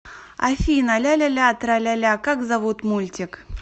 афина ляляля траляля как зовут мультик